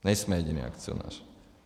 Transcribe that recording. Nejsme jediný akcionář.